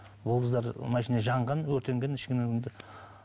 машина жанған өртенген